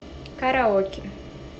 караоке